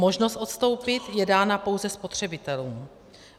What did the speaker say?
Možnost odstoupit je dána pouze spotřebitelům.